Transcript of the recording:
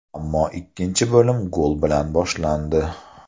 Ammo ikkinchi bo‘lim gol bilan boshlandi.